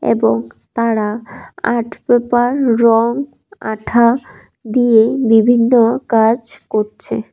এবং তারা art paper রং আঠা দিয়ে বিভিন্ন কাজ করছে।